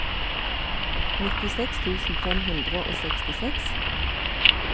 nittiseks tusen fem hundre og sekstiseks